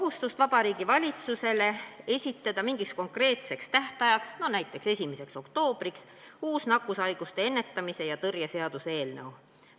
... et Vabariigi Valitsus esitaks mingiks konkreetseks tähtajaks, näiteks 1. oktoobriks, uue nakkushaiguste ennetamise ja tõrje seaduse eelnõu.